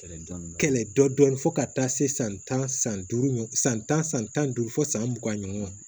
Kɛlɛ dɔn fo ka taa se san tan san duuru ma san tan san tan ni duuru fo san mugan ɲɔgɔn